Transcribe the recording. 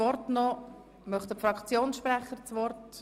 Wünschen die Fraktionssprecher das Wort?